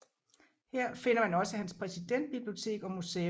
Her finder man også hans præsidentbibliotek og museum